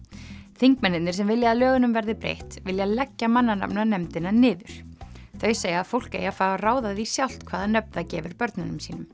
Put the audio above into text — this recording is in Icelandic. þingmennirnir sem vilja að lögunum verði breytt vilja leggja mannanafnanefndina niður þau segja að fólk eigi að fá að ráða því sjálft hvaða nöfn það gefur börnunum sínum